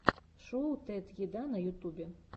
шоу тед еда на ютубе